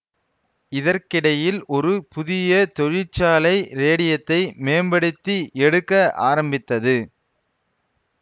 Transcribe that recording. இதற்கிடையில் ஒரு புதிய தொழிற்சாலை ரேடியத்தை மேம்படுத்தி எடுக்க ஆரம்பித்தது